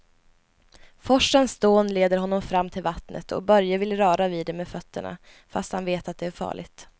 Forsens dån leder honom fram till vattnet och Börje vill röra vid det med fötterna, fast han vet att det är farligt.